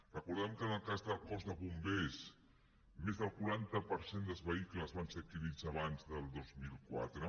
recordem que en el cas del cos de bombers més del quaranta per cent dels vehicles van ser adquirits abans del dos mil quatre